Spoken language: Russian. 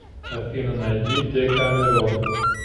афина найди дэкамерон